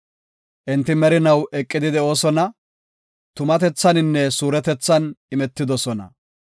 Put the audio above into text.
Enti merinaw eqidi de7oosona; tumatethaninne suuretethan imetidosona.